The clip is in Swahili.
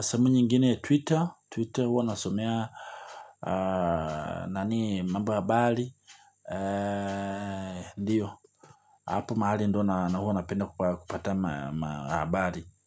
sehemu nyingine Twitter Twitter huwa nasomea. Nani mambo habari. Ndiyo apo mahali ndio na na huwa napenda kupata ma habari.